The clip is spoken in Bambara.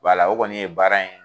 Wala la, o kɔni y'a baara ye.